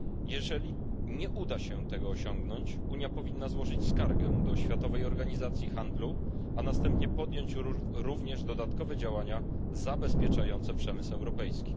Jeżeli nie uda się tego osiągnąć, Unia powinna złożyć skargę do Światowej Organizacji Handlu, a następnie podjąć również dodatkowe działania zabezpieczające przemysł europejski.